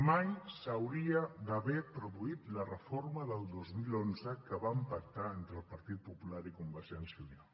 mai s’hauria d’haver produït la reforma del dos mil onze que van pactar entre el partit popular i convergència i unió